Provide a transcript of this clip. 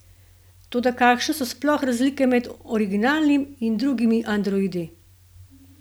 Toda kakšne so sploh razlike med originalnim in drugimi androidi?